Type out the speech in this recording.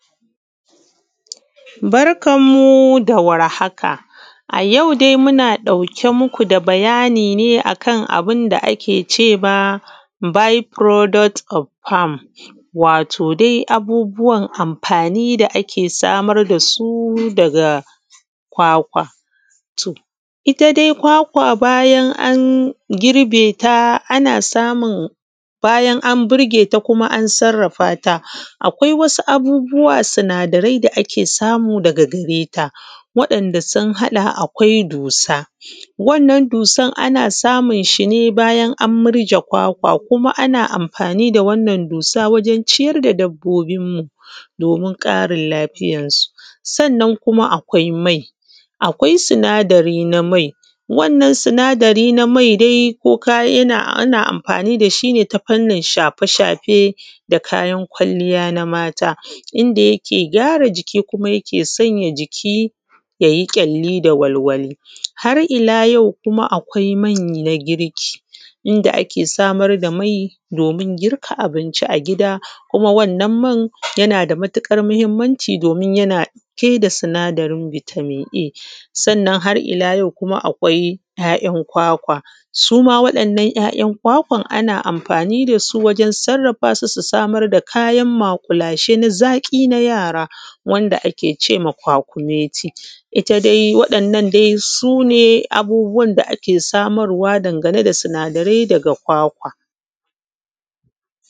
Barkamu dawar haka ayau dai muna ɗauke mku da bayani ne kan abunda ake cema bi furoduk ob fam. Wato dai abubuwan amfani da ake samar dasu daga kwakwa. Itta dai kwakwa bayan an burgeta ana samun bayan an burgeta kuma an sarrafata akwai wasu abubuwa sinada rai da ake samu daga gareta. Wa ‘yan’ da sun haɗa akwai dusa, wannan dusan ana samun shine bayan an murje kwakwa ana amfani da wannan dusa awjen ciyar da dabbobin mu domin ƙarin lafiyan su. Sannan kuma akwai mai, akwai sinadari na mai, wannan sinadari na mai ana amfani dashi ne ta fannin shafe shafe da kayan kwalliya na mata, inda yake gyara jiki kuma yakesa jiki yayi kyalkyali da walwali. Har illa yau kuma akwai main a girku inda ake samar da mai domin girka abinci a gida kuma wannan yanada matukar mahimmanci domin yana ɗauke da sinadarin sinadarin bitamin A. Sannan har illa yau kuma akwai ‘ya’ ‘yan’ kwakwan ana amfani dasu wajen sarrafasu su samar da kayan maƙulashe na zaƙi na yara wanda ake cewa kwakumeti itta waɗannan dai sune abubuwan da ake samarwa dangane da sinada rai daga kwakwa.